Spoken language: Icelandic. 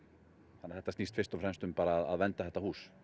þannig að þetta snýst fyrst og fremst um að vernda þetta hús